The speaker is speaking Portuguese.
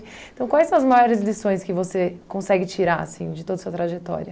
Então, quais são as maiores lições que você consegue tirar assim de toda a sua trajetória?